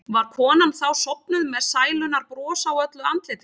Var konan þá sofnuð með sælunnar bros á öllu andlitinu.